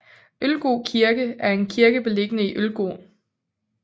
Ølgod kirke er en kirke beliggende i Ølgod